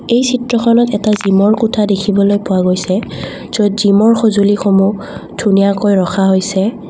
এই চিত্ৰখনত এটা জিম ৰ কোঠা দেখিবলৈ পোৱা গৈছে য'ত জিম ৰ সঁজুলি সমূহ ধুনীয়াকৈ ৰখা হৈছে।